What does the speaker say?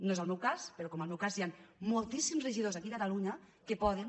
no és el meu cas però com en el meu cas hi han moltíssims regidors aquí a catalunya que poden